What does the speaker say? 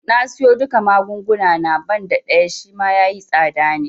Na siyo duka magunguna na, banda ɗaya Shima yayi tsada ne